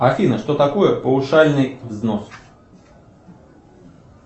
афина что такое паушальный взнос